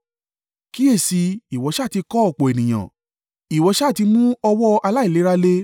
Kíyèsi i, ìwọ sá ti kọ́ ọ̀pọ̀ ènìyàn, ìwọ ṣá ti mú ọwọ́ aláìlera le.